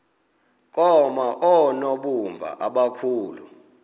koma oonobumba abakhulu